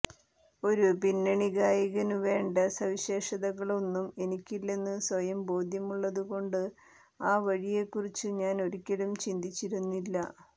ഒരു പിന്നണിഗായകനുവേണ്ട സവിശേഷതകളൊന്നും എനിക്കില്ലെന്നു സ്വയം ബോധ്യമുള്ളതുകൊണ്ട് ആ വഴിയെക്കുറിച്ചു ഞാൻ ഒരിക്കലും ചിന്തിച്ചിരുന്നില്ല